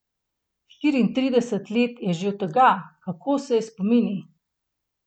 Štiriintrideset let je že od tega, kako je s spomini?